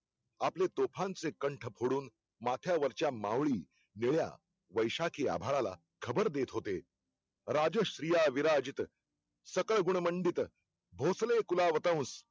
आपले तोफांचे कंठ फोडून माथ्यावर चा माऊळी वेड्या, वैशाखी आभाळाला खबर देत होते राज्याश्रिया विराजित सकाळ गुडमंदित भोसलेकुलावतुष